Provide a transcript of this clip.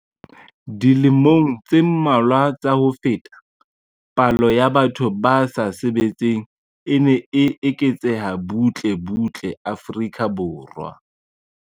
Dilemong tse mmalwa tsa ho feta, palo ya batho ba sa sebetseng e ne e eketseha butle butle Afrika Borwa.